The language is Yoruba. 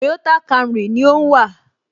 Toyota Camry ni ó ń wà